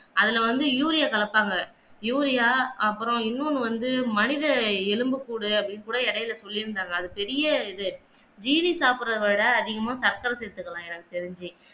அதுல வந்து யூரியா கலப்பாங்க யூரியா அப்புறம் இன்னொன்னு வந்து மனித எலும்புக்கூடு அப்படின்னு கூட இடையில சொல்லி இருந்தாங்க அது பெரிய ஜீனி சாப்பிட்ரத விட சக்கர சேர்த்துக்கலாம் எனக்கு தெரிஞ்சு